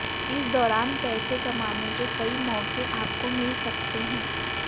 इस दौरान पैसे कमाने के कई मौके आपको मिल सकते हैं